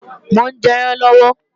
Mò ń jẹyán lọ́wọ́